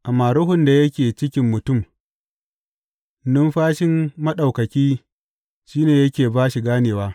Amma ruhun da yake cikin mutum, numfashin Maɗaukaki shi ne yake ba shi ganewa.